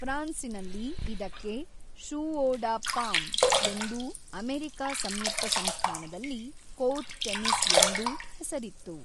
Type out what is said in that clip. ಫ್ರಾನ್ಸಿನಲ್ಲಿ ಇದಕ್ಕೆ jeu de paume ಎಂದೂ America ಸಂಯುಕ್ತ ಸಂಸ್ಥಾನದಲ್ಲಿ ಕೋರ್ಟ್ ಟೆನಿಸ್ ಎಂದೂ ಹೆಸರಿತ್ತು.